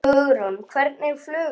Hugrún: Hvernig flugelda?